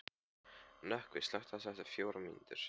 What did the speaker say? Nökkvi, slökktu á þessu eftir fjórar mínútur.